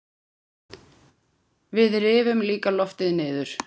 Við rifum líka loftið niður.